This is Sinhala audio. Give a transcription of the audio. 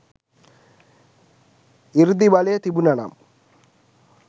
සෘද්ධි බලය තිබුන නම්